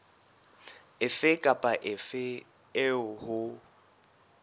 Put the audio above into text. efe kapa efe eo ho